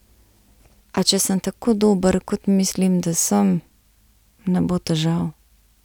A če sem tako dober, kot mislim, da sem, ne bo težav.